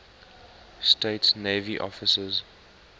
states navy officers